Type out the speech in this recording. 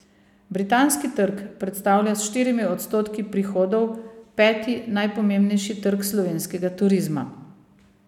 Britanski trg predstavlja s štirimi odstotki prihodov peti najpomembnejši trg slovenskega turizma.